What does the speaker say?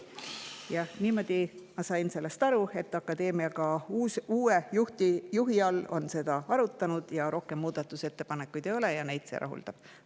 Jah, niimoodi ma sain sellest aru, et akadeemia uue juhiga on seda arutanud, rohkem muudatusettepanekuid ei ole ja neid see rahuldab.